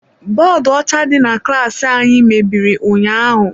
Bọọdụ ọcha di na klaasị anyị mebiri ụnyaahụ.